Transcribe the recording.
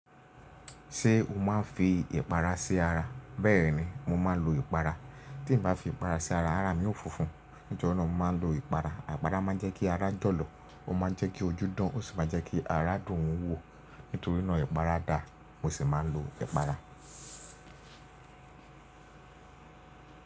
Ṣé o máa ń fi ìpara sí ara? Bẹ́ẹ̀ni, mo máa ń lo ìpara. Tí n bá fi ìpara sí ara, ara mi ó fúnfún. Níjọ́ náà, mo máa ń lo ìpara. Àpara máa ń jẹ́ kí ara jọ̀lọ̀, ó má a jẹ́ kí ojú dán, ó sì máa jẹ́ kí ara dùn ún wò. Nítorí náà ìpara dà, mo sì máa ń lo ìpara.